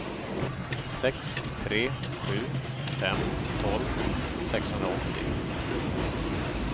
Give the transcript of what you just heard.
sex tre sju fem tolv sexhundraåttio